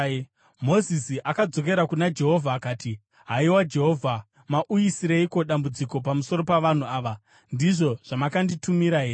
Mozisi akadzokera kuna Jehovha akati, “Haiwa Jehovha, mauyisireiko dambudziko pamusoro pavanhu ava? Ndizvo zvamakanditumira here?